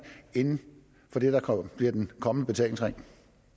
inden for det der bliver den kommende betalingsring